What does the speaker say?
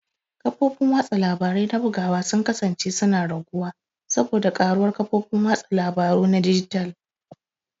Kafofin watsa labarai na bugawa sun kasance suna raguwa saboda karuwar kafofin watsa labaru na dijital.